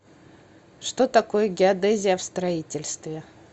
что такое геодезия в строительстве